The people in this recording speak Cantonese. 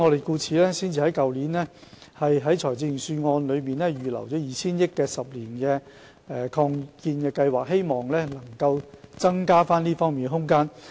故此，我們才在去年的財政預算案預留 2,000 億元推行10年的醫院發展計劃，以期增加這方面的空間。